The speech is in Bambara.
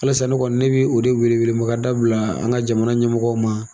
O de la sa ne kɔni, ne bi o de weele weele ma kan da bila , an ka jamana ɲɛmɔgɔw ma